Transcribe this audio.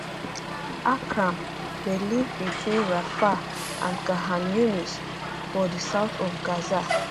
akram dey live between rafah and khan younis for for south of gaza